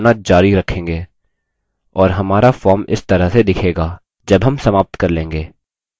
और हमारा form इस तरह से दिखेगा जब हम समाप्त कर लेंगे